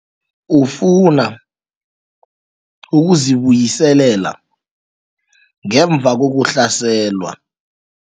Ufuna ukuzibuyiselela ngemva kokuhlaselwa.